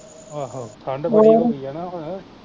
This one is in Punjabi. ਆਹੋ ਠੰਡ ਬੜੀ ਹੋ ਗਈ ਐ ਨਾ ਹੁਣ